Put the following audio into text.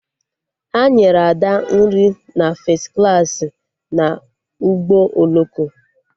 Ha nyere Ada nri na fes klaasị na ụgbọ oloko